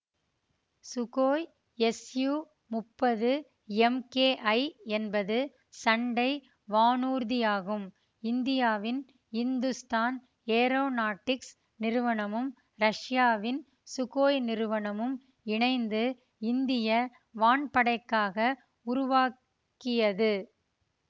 Sukhoi SU முப்பது MKI என்பது சண்டை வானூர்தியாகும் இந்தியாவின் இந்துஸ்தான் ஏரோநாட்டிக்ஸ் நிறுவனமும் ரஷ்யாவின் சுகோய் நிறுவனமும் இணைந்து இந்திய வான்படைக்காக உருவாக்கியது